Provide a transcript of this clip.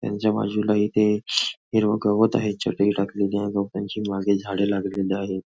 ह्याच्या बाजूला इथे हिरव गवत आहे चटई टाकलेली आहे गवतांची मागे झाडे लागलेली आहेत.